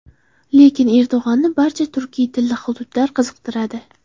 Lekin Erdo‘g‘onni barcha turkiy tilli hududlar qiziqtiradi.